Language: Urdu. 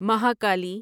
مہاکالی